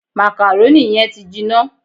Màkàrónì yẹn ti jiná